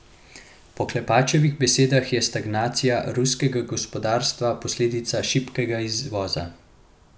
Po Klepačevih besedah je stagnacija ruskega gospodarstva posledica šibkega izvoza.